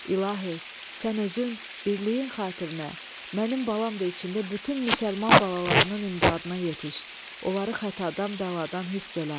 İlahi, sən özün, birliyin xatirinə, mənim balam da içində bütün müsəlman balalarının imdadına yetiş, onları xətadan, bəladan hifz elə!